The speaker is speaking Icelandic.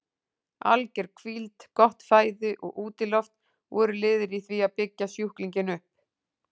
Alger hvíld, gott fæði og útiloft voru liðir í því að byggja sjúklinginn upp.